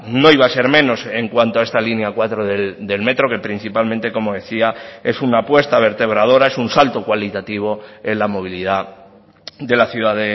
no iba a ser menos en cuanto a esta línea cuatro del metro que principalmente como decía es una apuesta vertebradora es un salto cualitativo en la movilidad de la ciudad